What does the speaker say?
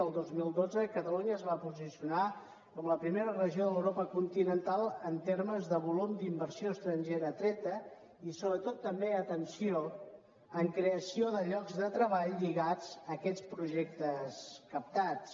el dos mil dotze catalunya es va posicionar com a primera regió d’europa continental en termes de volum d’inversió estrangera atreta i sobretot també atenció en creació de llocs de treball lligats a aquests projectes captats